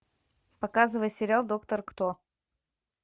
показывай сериал доктор кто